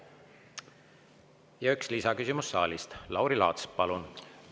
Ja üks lisaküsimus saalist, Lauri Laats, palun!